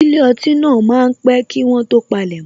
Ilé ọtí náà máa pé kí wọ́n tó palemo